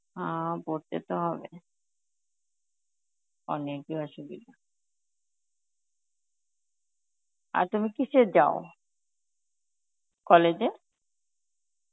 হা পড়তে তো হবে, অনেকই অসুবিধা. আর তুমি কিসে যাও college এ?